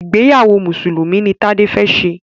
ìgbéyàwó Mùsùlùmí ní Tade fè ṣe.